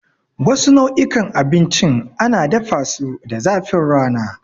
Wasu nau'ikan abincin ana dafasu da zafin rana.